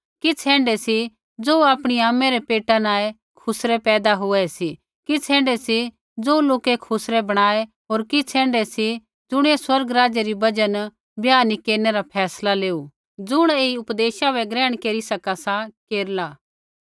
किछ़ ऐण्ढै सी ज़ो आपणी आमै रै पेटा न ऐ खुसरै पैदा हुऐ सी किछ़ ऐण्ढै सी ज़ो लोकै खुसरै बणाऐ होर किछ़ ऐण्ढै सी ज़ुणियै स्वर्ग राज्य री बजहा न ब्याह नी केरनै रा फैसला लेऊ सा ज़ुण ऐई उपदेशा बै ग्रहण केरी सका सा केरला